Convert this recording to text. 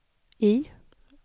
I